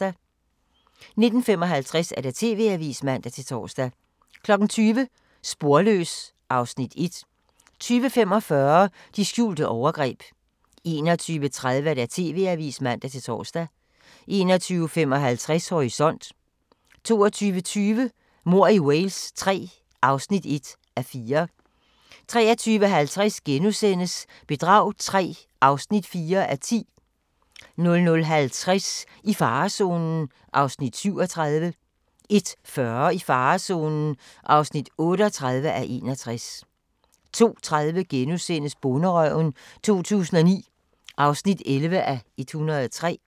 19:55: TV-avisen (man-tor) 20:00: Sporløs (Afs. 1) 20:45: De skjulte overgreb 21:30: TV-avisen (man-tor) 21:55: Horisont 22:20: Mord i Wales III (1:4) 23:50: Bedrag III (4:10)* 00:50: I farezonen (37:61) 01:40: I farezonen (38:61) 02:30: Bonderøven 2009 (11:103)*